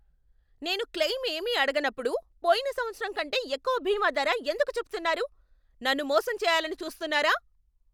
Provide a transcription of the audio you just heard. నేను క్లెయిమ్ ఏమీ అడగనప్పుడు పోయిన సంవత్సరం కంటే ఎక్కువ బీమా ధర ఎందుకు చెబుతున్నారు? నన్ను మోసం చేయాలని చూస్తున్నారా?